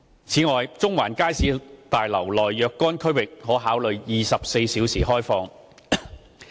此外，中環街市大樓內若干區域可考慮24小時開放。